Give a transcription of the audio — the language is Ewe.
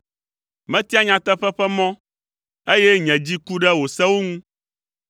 Metia nyateƒe ƒe mɔ, eye nye dzi ku ɖe wò sewo ŋu.